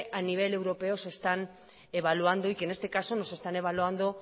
a nivel europeo se están evaluando y que en este caso nos están evaluando